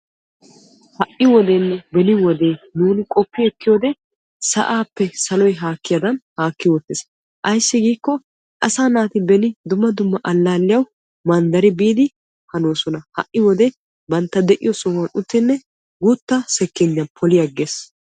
Ha wodenne beni wodee sa'appe saloy haakkaddan haakkiis. Beni wode asay tohuwan manddariddi issi alaalliya poloosonna ha'i wode son uttiddi poloossonna.